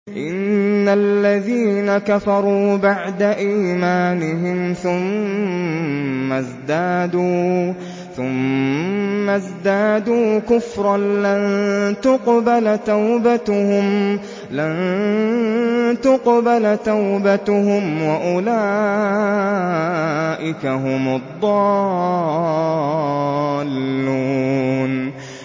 إِنَّ الَّذِينَ كَفَرُوا بَعْدَ إِيمَانِهِمْ ثُمَّ ازْدَادُوا كُفْرًا لَّن تُقْبَلَ تَوْبَتُهُمْ وَأُولَٰئِكَ هُمُ الضَّالُّونَ